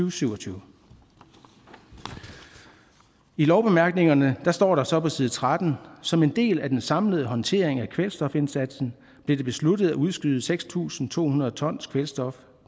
og syv og tyve i lovbemærkningerne står der så på side 13 som en del af den samlede håndtering af kvælstofindsatsen blev det besluttet at udskyde seks tusind to hundrede tons kvælstof